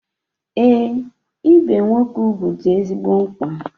Ee, ibe nwoke ugwu dị ezigbo mkpa.